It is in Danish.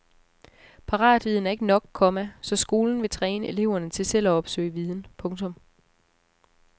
Paratviden er ikke nok, komma så skolen vil træne eleverne til selv at opsøge viden. punktum